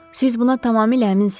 Siz buna tamamilə əminsiniz?